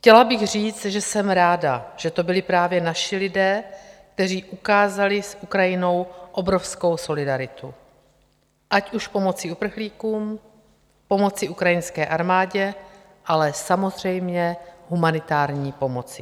Chtěla bych říct, že jsem ráda, že to byli právě naši lidé, kteří ukázali s Ukrajinou obrovskou solidaritu, ať už pomocí uprchlíkům, pomocí ukrajinské armádě, ale samozřejmě humanitární pomocí.